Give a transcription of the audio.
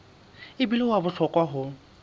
e bile wa bohlokwa ho